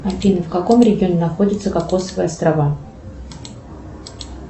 афина в каком регионе находятся кокосовые острова